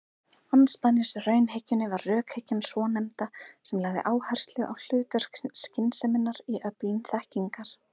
Andspænis raunhyggjunni var rökhyggjan svonefnda sem lagði áherslu á hlutverk skynseminnar í öflun þekkingar.